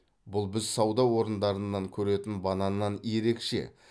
бұл біз сауда орындарынан көретін бананнан ерекше